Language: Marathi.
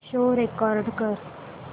शो रेकॉर्ड कर